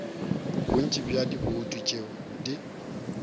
bontši bja dibouto tšeo di